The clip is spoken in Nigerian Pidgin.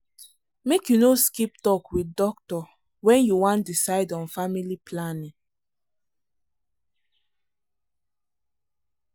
make you no skip talk with doctor when you wan decide on family planning.